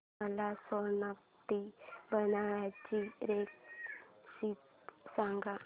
मला सोलकढी बनवायची रेसिपी सांग